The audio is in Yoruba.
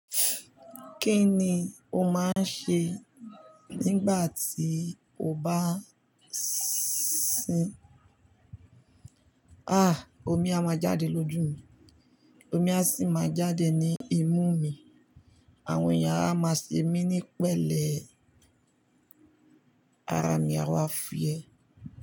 Kí ni o máa ń ṣe nígbà tí o bá s-s-sín? Ah! Omi a máa jáde lójú mi, omi a sì máa jáde ní imú mi, àwọn èèyàn a máa ṣe mí ní pẹ̀lẹ́, ara mi a máa fúyẹ.